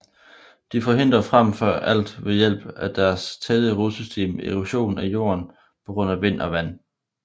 De forhindrer frem for alt ved hjælp af deres tætte rodsystem erosion af jord på grund af vind og vand